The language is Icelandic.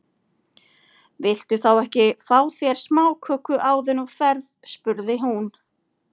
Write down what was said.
Viltu þá ekki fá þér smáköku áður en þú ferð spurði hún.